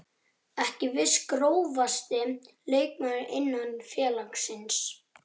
Ekki viss Grófasti leikmaður innan félagsins?